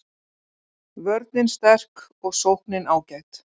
Vörnin sterk og sóknin ágæt